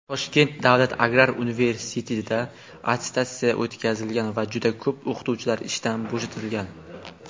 Toshkent davlat agrar universitetida attestatsiya o‘tkazilgan va juda ko‘p o‘qituvchilar ishdan bo‘shatilgan.